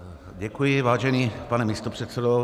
Děkuji, vážený pane místopředsedo.